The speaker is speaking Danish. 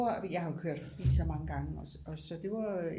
Jeg har jo kørt forbi så mange gange så det var